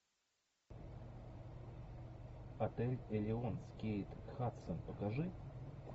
отель элеон с кейт хадсон покажи